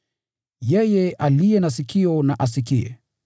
Yeye aliye na sikio na asikie.